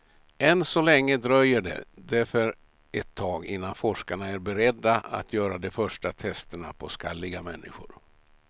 Än så länge dröjer det därför ett tag innan forskarna är beredda att göra de första testerna på skalliga människor.